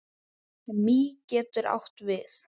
Mý getur átt við